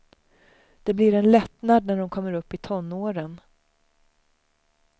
Det blir en lättnad när de kommer upp i tonåren.